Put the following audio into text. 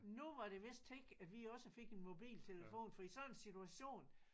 Nu var det vist tid at vi også fik en mobiltelefon fordi sådan en situation